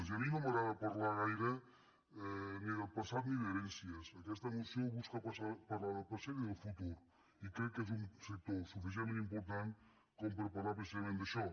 i a mi no m’agrada parlar gaire ni del passat ni d’herències aquesta moció busca parlar del present i del futur i crec que és un sector suficientment important per parlar precisament d’això